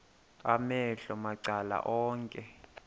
amehlo macala onke